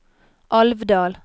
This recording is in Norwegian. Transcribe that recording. Alvdal